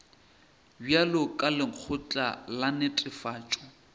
bjalo ka lekgotla la netefatšo